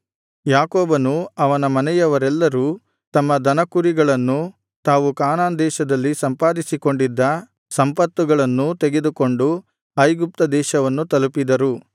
ಯಾಕೋಬನೂ ಅವನ ಮನೆಯವರೆಲ್ಲರೂ ತಮ್ಮ ದನಕುರಿಗಳನ್ನೂ ತಾವು ಕಾನಾನ್‌ ದೇಶದಲ್ಲಿ ಸಂಪಾದಿಸಿಕೊಂಡಿದ್ದ ಸಂಪತ್ತುಗಳನ್ನೂ ತೆಗೆದುಕೊಂಡು ಐಗುಪ್ತ ದೇಶವನ್ನು ತಲುಪಿದರು